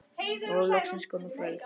Nú er loksins komið kvöld.